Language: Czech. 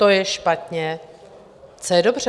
To je špatně, co je dobře?